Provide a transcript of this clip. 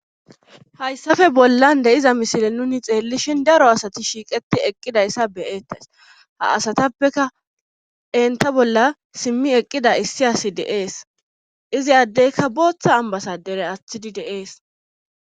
hayssappe bollan de'iza misile nuni xeellishin daro asati shiiqeti eqqidayssa beyeettays ha asatappeka enta bolla simmi eqqida issi asi deees izi addeyka booththa ambasadere aththidi deees